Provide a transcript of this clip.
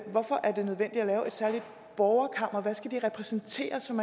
særligt borgerkammer hvad skal det repræsentere som